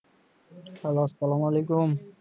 hello আসসালাম ওলাইকুম